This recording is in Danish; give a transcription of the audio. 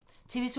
TV 2